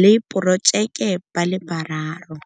le porojeke ba le bararo.